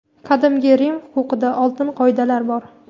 qadimgi Rim huquqida oltin qoidalar bor.